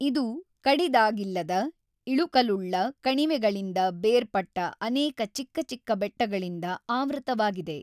ಇದು ಕಡಿದಾಗಿಲ್ಲದ ಇಳುಕಲುಳ್ಳ ಕಣಿವೆಗಳಿಂದ ಬೇರ್ಪಟ್ಟ ಅನೇಕ ಚಿಕ್ಕ ಚಿಕ್ಕ ಬೆಟ್ಟಗಳಿಂದ ಆವೃತವಾಗಿದೆ.